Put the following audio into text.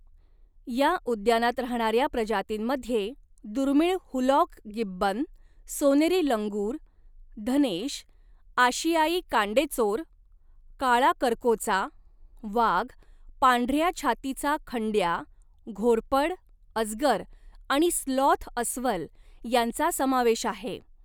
या उद्यानात राहणाऱ्या प्रजातींमध्ये दुर्मिळ हुलॉक गिब्बन, सोनेरी लंगूर, धनेश, आशियाई कांडेचोर, काळा करकोचा, वाघ, पांढऱ्या छातीचा खंड्या, घोरपड, अजगर आणि स्लॉथ अस्वल यांचा समावेश आहे